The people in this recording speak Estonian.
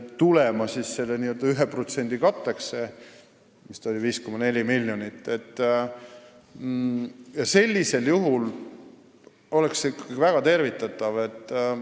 See 5,4 miljonit peaks siis olema selle 1% katteks – sellisel juhul oleks see väga tervitatav lahendus.